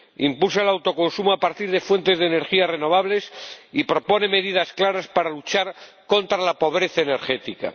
impulsa el autoconsumo a partir de fuentes de energía renovables y propone medidas claras para luchar contra la pobreza energética